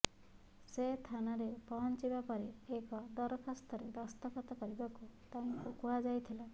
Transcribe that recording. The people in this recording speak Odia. ସେ ଥାନାରେ ପହଞ୍ଚିବା ପରେ ଏକ ଦରଖାସ୍ତରେ ଦସ୍ତଖତ କରିବାକୁ ତାଙ୍କୁ କୁହାଯାଇଥିଲା